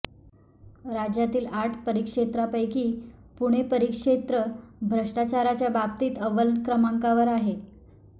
राज्यातील आठ परिक्षेत्रापैकी पुणे परिक्षेत्र भ्रष्टाचाराच्या बाबतीत अव्वल क्रमांकावर आहे